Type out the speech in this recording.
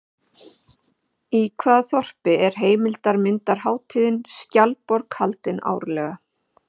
Í hvaða þorpi er heimildarmyndarhátíðin Skjaldborg haldin árlega?